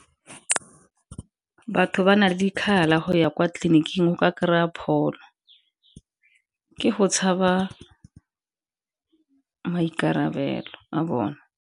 Batho ba na le dikgala go ya kwa tleliniking go ka kry-a pholo, ke go tshaba maikarabelo a bone.